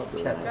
Ora haradır?